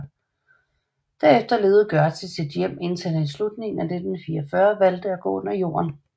Derefter levede Gørtz i sit hjem indtil han i slutningen af 1944 valgte at gå under jorden